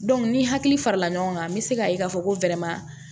ni hakili farala ɲɔgɔn kan n bɛ se k'a ye k'a fɔ ko